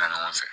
Ɲɔgɔn fɛ